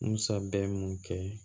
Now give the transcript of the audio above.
Musa bɛ mun kɛ